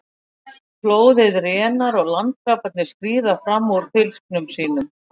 Flóðið rénar og landkrabbarnir skríða fram úr fylgsnum sínum.